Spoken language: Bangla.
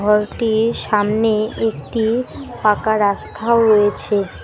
ঘরটির সামনে একটি পাকা রাস্থাও রয়েছে।